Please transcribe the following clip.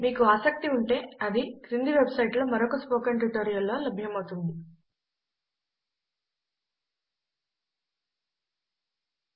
మీకు ఆసక్తి ఉంటే అది క్రింది వెబ్సైట్లో మరొక స్పోకెన్ ట్యుటోరియల్లో లభ్యమౌతుందిhttpspoken tutorialorg httpspoken tutorialorg